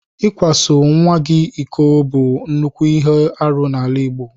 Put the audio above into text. Ịkwaso nnwa gị iko bụ nnukwu ihe arụ n'ala Igbo.